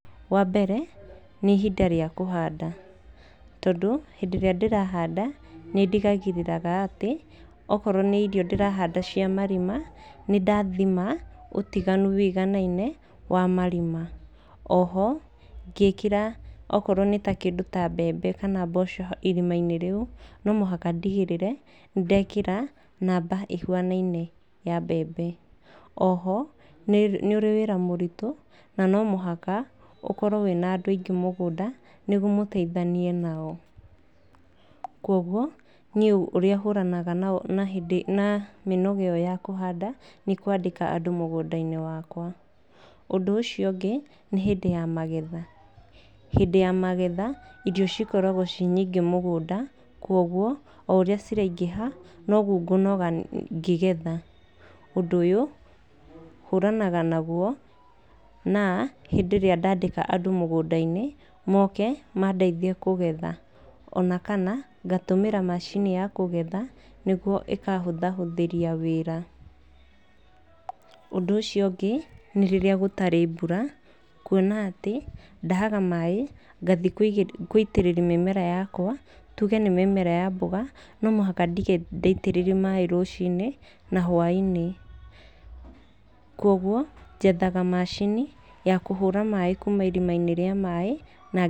Wambere nĩ ihinda rĩa kũhanda, tondũ hĩndĩ ĩrĩa ndĩrahanda nĩndigagĩrĩraga atĩ akorwo nĩ irio ndĩrahanda cia marima nĩndathima ũtiganu wũiganaine wa marima. O ho ngĩkĩra akorwo nĩ kĩndũ ta mbembe kana mboco irima-inĩ rĩu no mũhaka ndigĩrĩre nĩndekĩra namba ĩhuanaine ya mbembe. O ho nĩ ũrĩ wĩra mũritũ na no mũhaka ũkorwo wĩna andũ aingĩ mũgũnda nĩguo mũteithanie nao. Koguo ũrĩa niĩ hũranaga na mĩnoga ĩyo ya kũhanda nĩkwandĩka andũ mũgũnda-inĩ wakwa. Ũndũ ũcio ũngĩ nĩ hĩndĩ ya magetha, hĩndĩ ya magetha irio cikoragwo ci nyingĩ mũgũnda, koguo o ũrĩa ciraingĩha noguo ngũnoga ngĩgetha. Ũndũ ũyũ hũranaga naguo na hĩndĩ ĩrĩa ndandĩka andũ mũgũnda-inĩ moke mandeithie kũgetha. Ona kana ngatũmĩra macini ya kũgetha nĩguo ĩkahũthahũthĩria wĩra. Ũndũ ũcio ũngĩ nĩ rĩrĩa gũtarĩ mbura, kuona atĩ ndahaga maaĩ ngathiĩ gũitĩrĩria mĩmera yakwa, tuge nĩ mĩmera ya mboga no mũhaka ndige ndaitĩrĩria maaĩ rũcinĩ na hwa-inĩ, koguo njethaga macini ya kũhũra maaĩ kuma irima-inĩ rĩa maaĩ, na ...